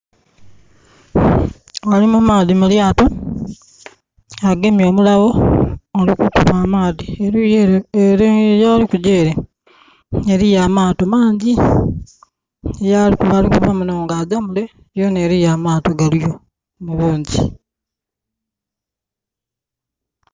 Ali mu maadhi mu lyaato, agemye omulagho ali kukuba amaadhi. Eluuyi ele, ele yali kugya ele, eliyo amaato mangyi. Yalikuva, ava munho nga agya mule, yonha eliiyo amaato galiyo mu bungyi.